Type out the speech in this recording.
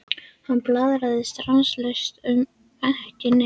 Hann blaðraði stanslaust um ekki neitt.